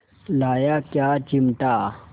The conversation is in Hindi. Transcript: लाया क्या चिमटा